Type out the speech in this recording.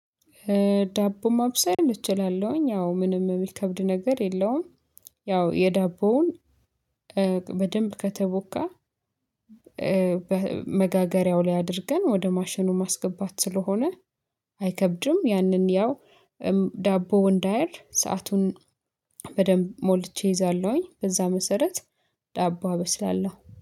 ዳቦ ማብሰል እችላለሁኝ ያው ምንም የሚከብድ ነገር የለውም። ያው የዳቦውን በደንብ ከተቦካ መጋገሪያው ላይ አድርገን ወደ ማሸኑ ማስገባት ስለሆነ። አይከብድም ያንን ያው ዳቦ እንዳያር ሰአቱን በደንብ ሞልቼ እይዛለሁኝ። በዛ መሰረት ዳቦ አበስላለሁ